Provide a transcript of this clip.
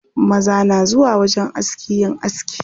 Maza na zuwa wajen aski yin aski.